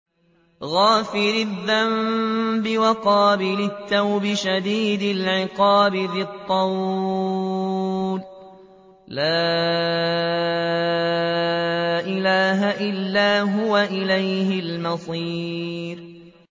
غَافِرِ الذَّنبِ وَقَابِلِ التَّوْبِ شَدِيدِ الْعِقَابِ ذِي الطَّوْلِ ۖ لَا إِلَٰهَ إِلَّا هُوَ ۖ إِلَيْهِ الْمَصِيرُ